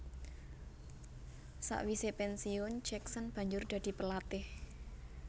Sakwise pensiun Jackson banjur dadi pelatih